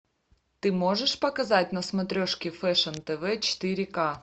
ты можешь показать на смотрешке фэшн тв четыре к